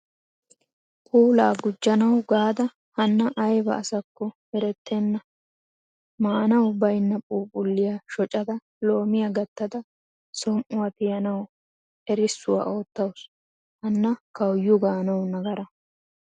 Puula gujjanawu gaada hanna ayba assako erettena. Maanawu baynna phuphphuliyaa shoccada loomiya gatada som'uwaa tiyanawu erissuwaa oottawusu. Hanna kawuyu gaanawu nagaara.